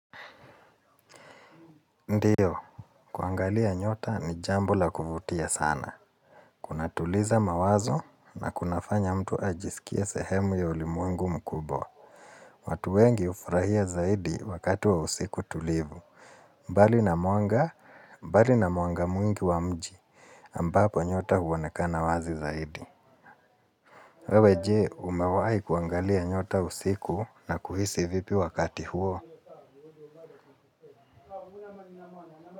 Ndio, kuangalia nyota ni jambo la kuvutia sana. Kuna tuliza mawazo na kuna fanya mtu ajisikia sehemu ya ulimwengu mkubwa. Watu wengi hufurahia zaidi wakati wa usiku tulivu. Mbali na mwanga, mbali na mwanga mwingi wa mji, ambapo nyota huonekana wazi zaidi. Wewe jee, umewahi kuangalia nyota usiku na kuhisi vipi wakati huo.